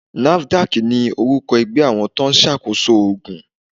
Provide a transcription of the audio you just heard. NAFDAC ni orúkọ ẹgbẹ́ àwọn tóun ṣá koso ògùn.